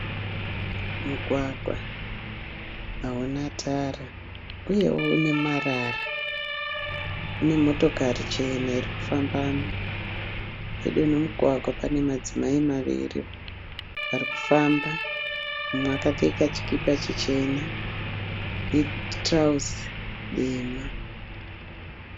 Mugwagwa hauna tara uyewo une marara. Mune motokari chena iri kufambamo. Pedo nemugwagwa pane madzimai maviri ari kufamba. Mumwe akapfeka chikipa chichena netirauzi dema.